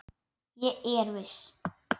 Ég er viss.